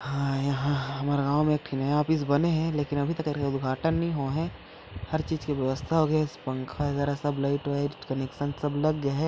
हाँ यहाँ हमर गांव में एक ठी नया ऑफिस बने हे लेकिन अभी उद्घाटन नहीं होए हे हर चीज के व्यवस्था होगे हे पंखा वगैरा सब लाइट - वाइट कनेक्शन सब लग गए हे--